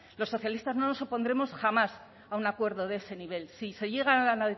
los socialistas no nos opondremos jamás a un acuerdo de ese nivel si se llegan a